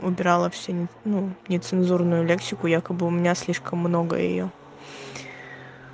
убрала все ну нецензурную лексику якобы у меня слишком много её